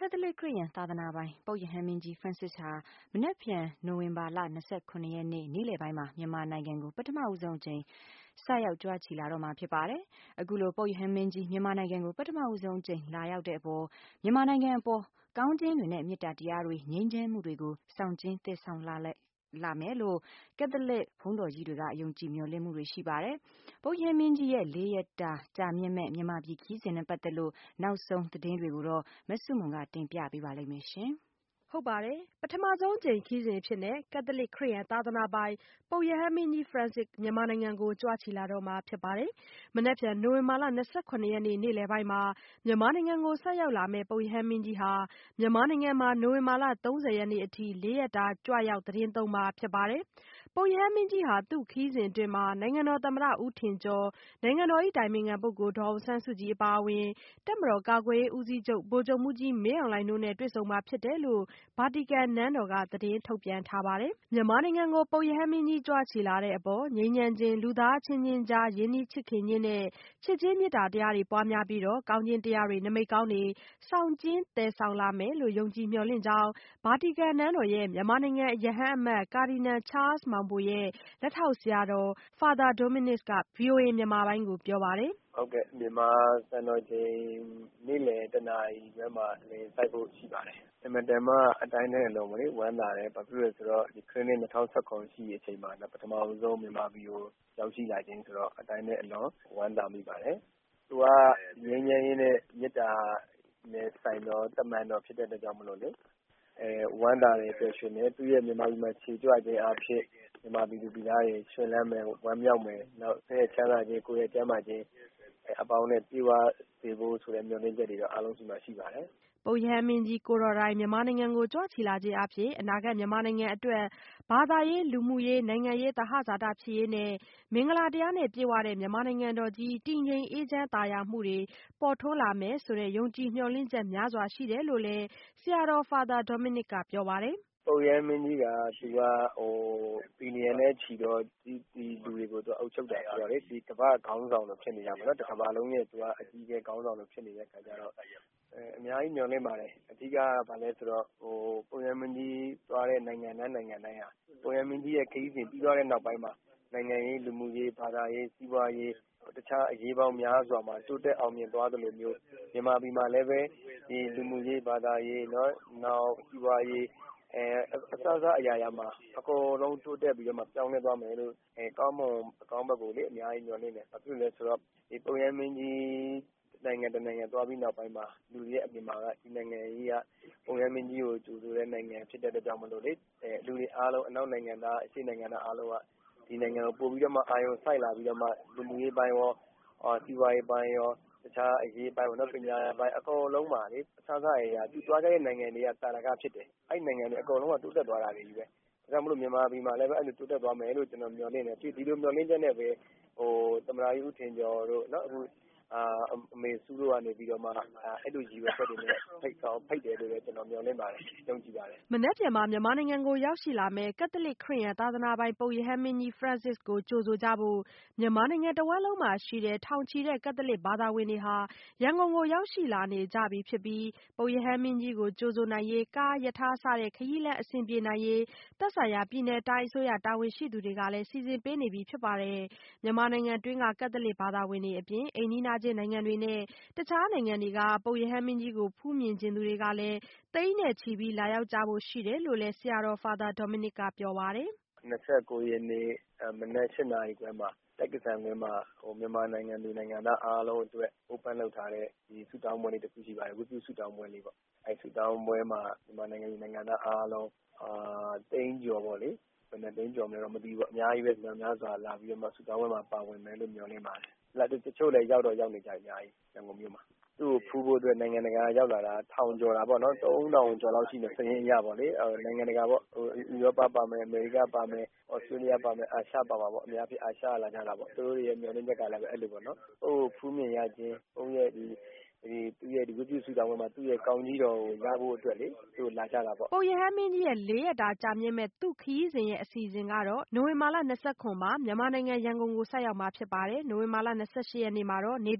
ကက်သလစ်ခရစ်ယာန် သာသနာပိုင် ပုပ်ရဟန်းမင်းကြီး Francis ဟာ မနက်ဖြန် နိုဝင်ဘာလ ၂၇ ရက်နေ့ နေ့လည်ပိုင်းမှာ မြန်မာနိုင်ငံကို ပထမဆုံးအကြိမ် ဆိုက်ရောက်ကြွချီလာတော့မှာဖြစ်ပါတယ်။ အခုလို ပုပ်ရဟန်းမင်းကြီး မြန်မာနိုင်ငံကို ပထမဆုံးအကြိမ် လာရောက်တဲ့အပေါ် မြန်မာနိုင်ငံအပေါ် ကောင်းခြင်းတွေနဲ့ မေတ္တာတရားတွေ ငြိမ်းချမ်းမှုတွေကို ဆောင်ကျဉ်းသယ်ဆောင်လာနိုင်မယ်လို့ ကက်သလစ်ဘုန်းတော်ကြီးတွေက ယုံကြည်မျှော်လင့်မှုတွေရှိပါတယ်။ ပုပ်ရဟန်းမင်းကြီး ရဲ့ လေးရက်တာကြာမြင့်မယ့် မြန်မာပြည်ခရီးစဉ်နဲ့ပတ်သက်လို့ နောက်ဆုံးရသတင်းကို မဆုမွန် က တင်ပြပေးပါမယ်။ ပထမဆုံးအကြိမ်ခရီးစဉ်အဖြစ်နဲ့ ကက်သလစ်ခရစ်ယာန်သာသနာပိုင် ပုပ်ရဟန်းမင်းကြီး Francis မြန်မာနိုင်ငံကို ကြွချီလာတော့မှာဖြစ်ပါတယ်။ မနက်ဖြန် နိုဝင်ဘာလ ၂၇ ရက်နေ့ နေ့လည်ပိုင်းမှာ မြန်မာနိုင်ငံကို ဆိုက်ရောက်လာမယ့် ပုပ်ရဟန်းမင်းကြီးဟာ မြန်မာနိုင်ငံမှာ နိုဝင်ဘာလ ၃၀ရက်နေ့အထိ လေးရက်တာ ကြွရောက်သီတင်းသုံးမှာဖြစ်ပါတယ်။ ပုပ်ရဟန်းမင်းကြီးဟာ သူ့ခရီးစဉ်အတွင်း နိုင်ငံတော်သမ္မတ ဦးထင်ကျော်၊ နိုင်ငံတော်၏အတိုင်ပင်ခံပုဂ္ဂိုလ် ဒေါ်အောင်ဆန်းစုကြည်အပါအဝင် တပ်မတော်ကာကွယ်ရေး ဦးစီးချုပ်ဗိုလ်ချုပ်မှူးကြီး မင်းအောင်လှိုင်တို့နဲ့ တွေ့ဆုံမှာဖြစ်တယ်လို့ ဗာတီကန်နန်းတော်က သတင်းထုတ်ပြန်ထားပါတယ်။ မြန်မာနိုင်ငံကို ပုပ်ရဟန်းမင်းကြီး ကြွချီလာတဲ့အပေါ် ငြိမ်းချမ်းခြင်း၊ လူသားအချင်းချင်းကြား ရင်းနှီးချစ်ခင်ခြင်းနဲ့ ချစ်ခြင်း မေတ္တာတရားတွေ ပွားများပြီးတော့ ကောင်းခြင်းတရားတွေ နမိတ်ကောင်းတွေ ဆောင်ကျဉ်းသယ်ဆောင်လာမယ်လို့ ယုံကြည်မျှော်လင့်ကြောင်း ဗာတီကန်နန်းတော်ရဲ့ မြန်မာနိုင်ငံ ရဟန်းအမတ် ကာဒီနယ်ချားလ်စ်မောင်ဘိုရဲ့ လက်ထောက်ဆရာတော် Father Dominic က ဗွီအိုအေမြန်မာပိုင်းကို ပြောပါတယ်။ “ဟုတ်ကဲ့ မြန်မာစံတော်ချိန် နေ့လည် ၁ နာရီမှာ လေယာဉ်ဆိုက်ဖို့ရှိပါတယ်။ အင်မတန်မှ အတိုင်းထက်အလွန်ဝမ်းသာတယ်။ ဘာဖြစ်လို့လဲဆိုတော့ ခရစ်နှစ် ၂၀၁၇ ရှိတဲ့အချိန်မှာ မြန်မာနိုင်ငံကို ပထမဆုံး ရောက်ရှိလာခြင်းဆိုတော့ အတိုင်းထက်အလွန်ဝမ်းသာမိပါတယ်။ သူက ငြိမ်းချမ်းရေးနဲ့ မေတ္တာဆိုင်တဲ့ တမန်တော်ဖြစ်တဲ့အတွက်ကြောင့်မို့လို့ ဝမ်းသာတယ် ပျော်ရွှင်တယ်။ သူမြန်မာပြည်ကို ကြွလာခြင်းအားဖြင့် မြန်မာပြည်သူပြည်သားတွေ ရွင်လန်းမယ်၊ ဝမ်းမြောက်မယ်။ နောက်စိတ်၏ ချမ်းသာခြင်း ၊ ကိုယ်၏ကျန်းမာခြင်း အပေါင်းနဲ့ ပြည့်ဝစေဖို့ဆိုတဲ့ မျှော်လင့်ချက်တွေတော့ အားလုံးစီမှာ ရှိပါတယ်။” ပုပ်ရဟန်းမင်းကြီး ကိုယ်တော်တိုင် မြန်မာနိုင်ငံကို ကြွချီလာခြင်းအားဖြင့် အနာဂတ်မြန်မာနိုင်ငံအတွက် ဘာသာရေး၊ လူမှုရေး၊ နိုင်ငံရေး သဟဇာတဖြစ်ရေးနဲ့ မင်္ဂလာတရားနဲ့ပြည့်ဝတဲ့ မြန်မာနိုင်ငံတော်ကြီး တည်ငြိမ်အေးချမ်းသာယာမှုတွေ ပေါ်ထွန်းလာမယ်ဆိုတဲ့ ယုံကြည် မျှော်လင့်ချက်များစွာရှိတယ်လို့လည်း ဆရာတော် Father Dominicက ပြောပါတယ်။ “ပုပ်ရဟန်းမင်းကြီးက billions နဲ့ ချီတဲ့လူတွေကို အုပ်ချုပ်တာဆိုတော့လေ ဒီကမ္ဘာ့ခေါင်းဆောင်လို ဖြစ်နေတာပေါ့နော်။ တကမ္ဘာလုံးရဲ့ အကြီးအကဲခေါင်းဆောင်လိုဖြစ်နေတဲ့အခါကျတော့ အများကြီးမျှော်လင့်ပါတယ်။ အဓိကက ဘာလဲဆိုတော့ ပုပ်ရဟန်းမင်းကြီးသွားတဲ့ နိုင်ငံတိုင်း နိုင်ငံတိုင်းက ပုပ်ရဟန်းမင်းကြီးခရီးစဉ် ပြီးသွားတဲ့ နောက်ပိုင်းမှာ နိုင်ငံရေး၊ လူမှုရေး ၊ ဘာသာရေး စီးပွားရေး တခြားအရေးပေါင်းများစွာမှာ တိုးတက်အောင်မြင်သွားသလိုမျိုး မြန်မာပြည်မှာလည်း ဒီလို လူမှုရေးဘာသာရေး၊ နောက်စီးပွားရေး အစစအရာရာမှာ အကုန်လုံးတိုးတက်ပြီးတော့ ပြောင်းလဲသွားမယ်လို့ အကောင်းဘက်ကိုလေ အများကြီးမျှော်လင့်တယ်။ ဘာဖြစ်လို့လဲဆိုတော့ ပုပ်ရဟန်းမင်းကြီးနိုင်ငံ တနိုင်ငံ သွားပြီးနောက်ပိုင်းမှာ လူတွေရဲ့အမြင်မှာက ဒီနိုင်ငံက ပုပ်ရဟန်းမင်းကြီးကို ကြိုဆိုတဲ့နိုင်ငံဖြစ်တဲ့အတွက်ကြောင့် လူတွေအားလုံး အနောက်နိုင်ငံသား၊ အရှေ့ နိုင်ငံသားအားလုံးက ဒီနိုင်ငံကို ပိုပြီးတော့မှ အာရုံစိုက်လာပြီးတော့ လူမှုရေးအပိုင်းရော စီးပွားရေးအပိုင်းရော တခြားအရေးပိုင်း၊ နောက် ပညာပိုင်း အကုန်လုံးမှာ အစစအရာရာ သူသွားခဲ့တဲ့နိုင်ငံတွေက သာဓက ဖြစ်တယ်၊ အဲဒီနိုင်ငံတွေက တိုးတက်သွားတာပဲ။ ဒါကြောင့်မို့လို့ မြန်မာနိုင်ငံလည်း တိုးတက်သွားမယ်လို့ မျှော်လင့်တယ်။ ဒီလိုမျှော်လင့်ချက်နဲ့ပဲ သမ္မတကြီး ဦးထင်ကျော်တို့ ၊ နောက်အမေစု တို့ကနေပြီးတော့မှ အဲလိုရည်ရွယ်ချက်တွေနဲ့ ဖိတ်တယ်လို့ ကျနော်မျှော်လင့်ပါတယ် ယုံကြည်ပါတယ်။” မနက်ဖြန်မှာ မြန်မာနိုင်ငံကို ရောက်ရှိလာမယ့် ကက်သလစ် ခရစ်ယာန်သာသနာပိုင် ပုပ်ရဟန်းမင်းကြီး Francis ကို ကြိုဆိုကြဖို့ မြန်မာနိုင်ငံတဝှမ်းလုံးမှာ ရှိတဲ့ ထောင်ချီတဲ့ ကက်သလစ်ဘာသာဝင်တွေဟာ ရန်ကုန်ကို ရောက်ရှိလာနေကြပြီဖြစ်ပြီး ပုပ်ရဟန်းမင်းကြီးကို ကြိုဆိုနိုင်ရေး ကား၊ ရထား စတဲ့ ခရီးလမ်းအဆင်ပြေနိုင်ရေး သက်ဆိုင်ရာ ပြည်နယ်တိုင်းအစိုးရတာဝန်ရှိသူတွေက စီစဉ်ပေးနေပြီဖြစ်ပါတယ်။ မြန်မာနိုင်ငံတွင်းက ကက်သလစ်ဘာသာဝင်တွေအပြင် အိမ်နီးချင်းနိုင်ငံတွေနဲ့ တခြားနေရာတွေက ပုပ်ရဟန်းမင်းကြီးကို ဖူးမြင်ချင်သူတွေလည်း သိန်းနဲ့ချီ လာရောက်ကြဖို့ရှိတယ်လို့လည်း ဆရာတော် Father Dominic က ပြောပါတယ်။ “၂၉ ရက်နေ့ မနက် ၈ နာရီခွဲမှာ ကျိက္ကဆံကွင်းopen လုပ်ထားတဲ့ ဆုတောင်းပွဲလေး တခုရှိပါတယ်။ ဝတ်ပြုဆုတောင်းပွဲလေးပေါ့ အဲဒီဆုတောင်းပွဲလေးမှာ မြန်မာနိုင်ငံသူနိုင်ငံသားအားလုံး သိန်းကျော်ပေါ့လေ၊ ဘယ်နှစ်သိန်းလဲတော့မသိဘူး မြောက်များစွာလာပြီးတော့မှ ဆုတောင်းပွဲမှာ ပါဝင်မယ်လို့ မျှော်လင့်ပါတယ်။ တချို့လည်းရောက်တော့ရောက်နေပြီ ရန်ကုန်မြို့မှာ ။ သူ့ကို ဖူးဖို့အတွက် နိုင်ငံတကာက ရောက်လာတာကတော့ ထောင်ကျော်တာပေါ့နော် ၃၀၀၀ ကျော်လောက်ရှိမယ် စာရင်းအရပေါ့လေ။ နိုင်ငံတကာပေါ့ ဥရောပ ပါမယ်၊ အမေရိက ပါမယ်၊ သြစတေးလျ ပါမယ် အာရှပါမှာပေါ့ ။ အများက အာရှိကလာကြတာပေါ့။ သူတို့ မျှော်လင့်ချက်က သူ့ကိုဖူးမြင်ရခြင်းနဲ့ ဒီ ဝတ်ပြုဆုတောင်းပွဲမှာ သူ့ကောင်းကြီးတော်ကို ရဖို့အတွက် လာကြတာပေါ့။” ပုပ်ရဟန်းမင်းကြီးဟာ လေးရက်တာကြာမြင့်မယ့် သူ့ခရီးစဉ်ရဲ့ အစီအစဉ်ကတော့ နိုဝင်ဘာ ၂၇မှာ မြန်မာနိုင်ငံ ရန်ကုန်ကို ဆိုက်ရောက်မှာဖြစ်ပြီး နိုဝင်ဘာ ၂၈ရက်နေ့မှာတော့ နို်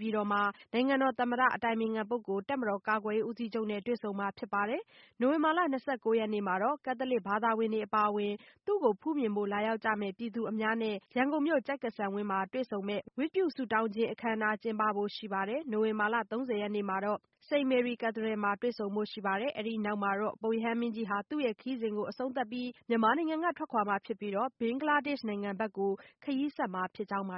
င်ငံတော်သမ္မတ၊ အတိုင်ပင်ခံပုဂ္ဂိုလ်၊ တပ်မတော်ကာကွယ်ရေးဦးစီးချုပ်နဲ့တွေ့ဆုံမှာဖြစ်ပြီး နိုဝင်ဘာလ ၂၉ရက်နေ့မှာတော့ ကက်သလစ်ဘာသာဝင်တွေအပါအဝင် သူ့ကိုဖူးမြင်ဖို့ လာရောက်ကြမယ့် ပြည်သူအများနဲ့ ရန်ကုန်မြို့ ကျိက္ကဆံကွင်း တွေ့ဆုံမယ့်ဝတ်ပြုဆုတောင်းပွဲအခမ်းအနားကျင်းပဖို့ရှိပါတယ် နိုဝင်ဘာလ ၃၀ရက်နေ့မှာတော့ စိန့်မေရီ Cathedral မှာ တွေ့ဆုံပွဲရှိပါတယ်။ အဲ့ဒီ့နောက်မှာတော့ ပုပ်ရဟန်းမင်းကြီးဟာ မြန်မာပြည်ကထွက်ခွာပြီး ဘင်္ဂလားဒေ့ရှ်နိုင်ငံဘက် ခရီးဆက်မှာဖြစ်ကြောင်းပါ